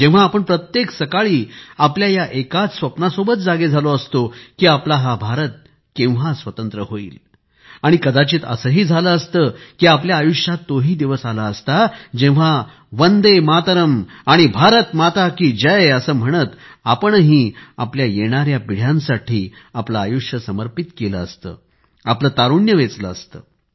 जेव्हा आपण प्रत्येक सकाळी आपल्या या एकाच स्वप्नासोबत जागे झालो असतो की आपला हा भारत केव्हा स्वतंत्र होईल आणि कदाचित असंही झालं असतं की आपल्या आयुष्यात तो ही दिवस आला असता जेव्हा वंदेमातरम आणि भारत माता की जय असं म्हणत आपणही आपल्या येणाऱ्या पिढ्यांसाठी आपले आयुष्य समर्पित केले असते आपले तारुण्य वेचले असते